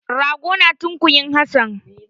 Rago na tunkuyi Hassan.